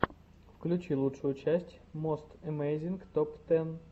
включи лучшую часть мост эмейзинг топ тэн